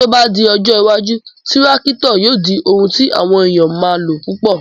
Tí o ba di ọjọ́ iwájú, Tírákítọ̀ yóò di oun tí àwọn èèyàn o ma lò púpọ̀